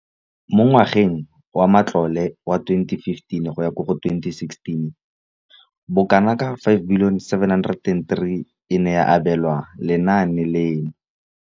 Mo ngwageng wa matlole wa 2015,16, bokanaka R5 703 bilione e ne ya abelwa lenaane leno.